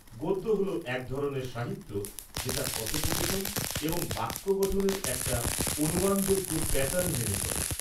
-গদ্য হল এক ধরনের সাহিত্য যেটা কথোপকথন এবং বাক্য গঠনের একটা অনুমানযোগ্য প্যাটার্ন মেনে চলে।